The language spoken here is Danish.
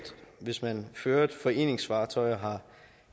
hvis man fører et foreningsfartøj og har